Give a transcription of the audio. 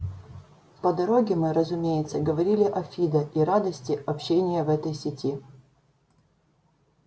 по дороге мы разумеется говорили о фидо и радости общения в этой сети